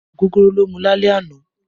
Ogogoro ló mú lálẹ́ àná